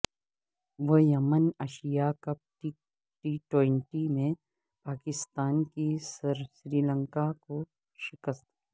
women Asia cup T twenty میں پاکستان کی سری لنکا کو شکست